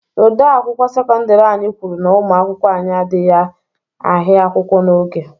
Odeakwụkwọ sekọndiri anyị kwuru na ụmụ akwụkwọ anyị adịghị ahịa akwụkwọ n'oge.